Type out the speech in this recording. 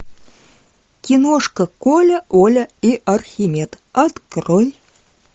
киношка коля оля и архимед открой